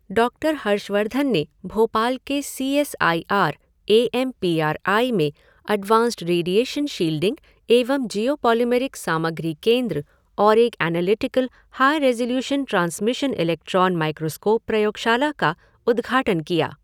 doctor Harshvardhan ने भोपाल के C S I R, A M P R I में advanced radiation shielding एवं geopolymeric सामग्री केन्द्र और एक analytical high resolution transmission electron microscope प्रयोगशाला का उद्घाटन किया